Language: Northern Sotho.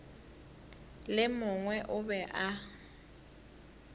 le mongwe o be a